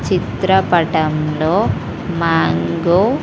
చిత్రపటం లో మంగో .